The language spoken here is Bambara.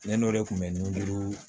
Ne n'o de tun bɛ ni duuru